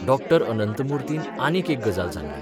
डॉ अनंतमुर्तीन आनीक एक गजाल सांगली.